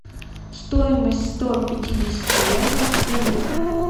стоимость ста пятидесяти евро в фунтах